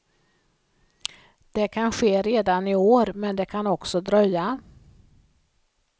Det kan ske redan i år men det kan också dröja.